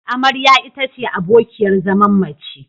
Amarya ita ce abokiyar zaman mace.